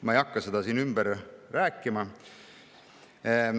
Ma ei hakka seda siin ümber rääkima.